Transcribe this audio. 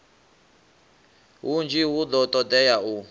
hunzhi hu do todea u